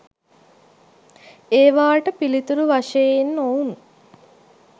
ඒවාට පිළිතුරු වශයෙන් ඔවුන්